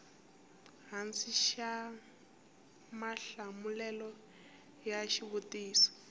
hansi xa mahlamulelo ya xivutiso